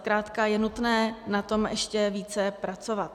Zkrátka je nutné na tom ještě více pracovat.